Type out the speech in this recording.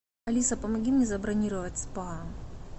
алиса помоги мне забронировать спа